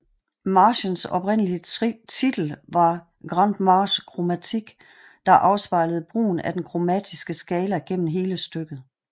Marchens oprindelige titel var Grande Marche Chromatique der afspejlede brugen af den kromatiske skala gennem hele stykket